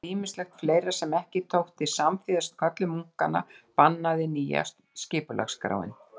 Þetta og ýmislegt fleira sem ekki þótti samþýðast köllun munkanna bannaði nýja skipulagsskráin.